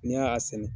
N'i y'a sɛnɛ